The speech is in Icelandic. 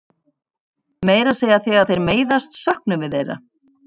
Meira að segja þegar þeir meiðast söknum við þeirra.